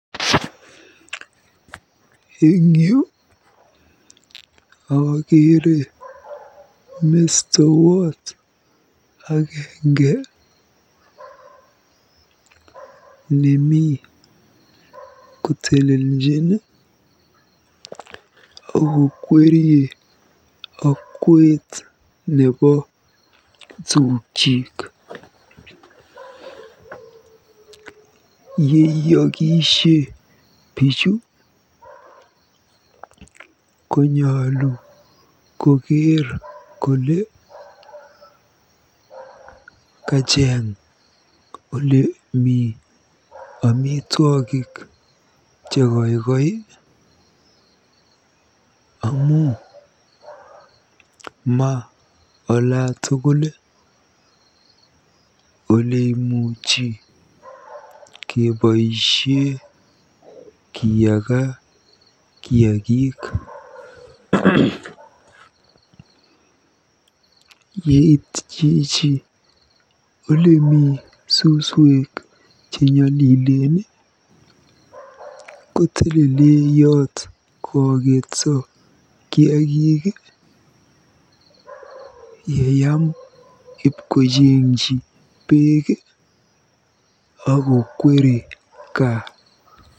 Eng yu akeere mestowot agenge nemi koteleljin okokwerie okwet nebo tugyik. Yeiyokisiei bichu konyolu koker kole kacheng olemi omitwogik chekoikoi amu ma olatugul oleimuchi keboisie keyage kiagik. Yeit chichi olemi suswek chenyolilen kotelele yot koaketso kiagik yeyam ipkojengji beek akokweri gaa.